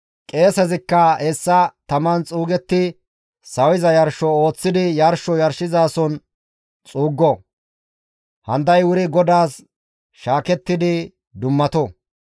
Qeesezikka hessa taman xuugetti sawiza yarsho ooththidi yarsho yarshizason xuuggo; handay wuri GODAAS shaakettidi dummato.